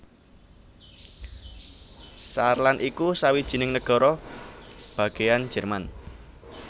Saarland iku sawijining nagara bagéyan Jerman